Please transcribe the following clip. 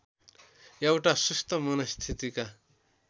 एउटा सुस्त मनस्थितिका